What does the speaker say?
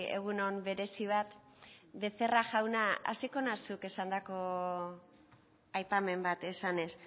egun on berezi bat becerra jauna hasiko naiz zuk esandako aipamen bat esanez